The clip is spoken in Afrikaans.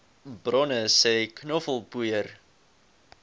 bronne sê knoffelpoeier